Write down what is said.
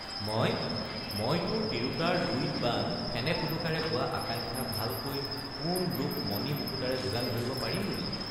মই—মই তোৰ তিৰোতাৰ লুইত বান ফেনে ফোটোকাৰে বোৱা আকাঙ্ক্ষাৰ ভালকৈ সোণ—ৰূপ—মণি—মুকুতাৰে যোগান ধৰিব পাৰিম বুলি।